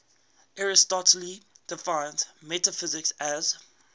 aristotle defines metaphysics as